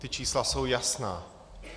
Ta čísla jsou jasná.